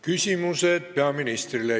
Küsimused peaministrile.